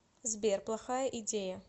сбер плохая идея